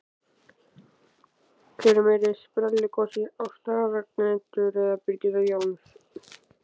Hver er meiri sprelligosi, Ásta Ragnheiður eða Birgitta Jóns?